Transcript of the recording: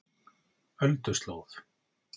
Ölduslóð